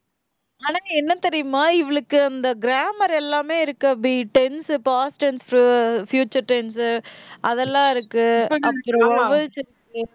ஆனா, என்ன தெரியுமா? இவளுக்கு அந்த grammar எல்லாமே இருக்கு அபி. tense, past tense உ future tense உ அதெல்லாம் இருக்கு. அப்புறம் vowels இருக்கு